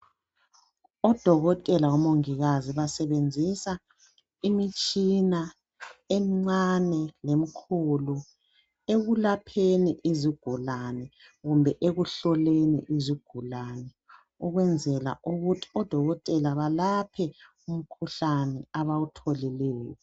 Odokotela labomongikazi basebenzisa imitshina emncane lemkhulu ekulapheni izigulani kumbe ekuhloleni izigulani ukwenzela ukuthi odokotela balaphe umkhuhlane abawutholileyo.